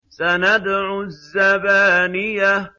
سَنَدْعُ الزَّبَانِيَةَ